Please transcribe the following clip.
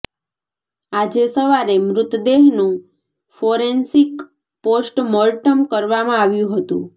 આજે સવારે મૃતદેહનું ફોરેન્સિક પોસ્ટ મોર્ટમ કરવામાં આવ્યું હતું